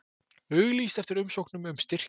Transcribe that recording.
Auglýst eftir umsóknum um styrki